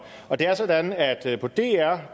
og det er sådan at på dr